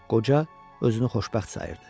Qoca özünü xoşbəxt sayırdı.